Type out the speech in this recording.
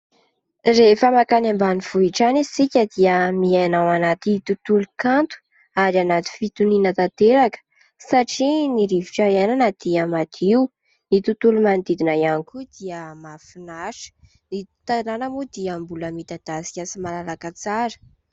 Rehefa mankany ambanivohitra any isika dia miaina ao anaty tontolo-kanto ary anaty fitoniana tanteraka, satria ny rivotra iainana dia madio ny tontolo manodidina ihany koa dia mahafinaritra ny tanàna moa dia mbola midadasika sy malalaka tsara.